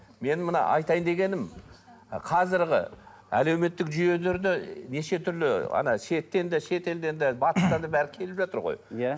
менің мына айтайын дегенім қазіргі әлеуметтік жүйелерде неше түрлі ана шеттен де шетелден де батыстан да бәрі келіп жатыр ғой иә